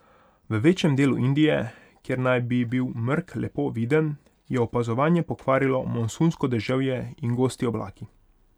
V večjem delu Indije, kjer naj bi bil mrk lepo viden, je opazovanje pokvarilo monsunsko deževje in gosti oblaki.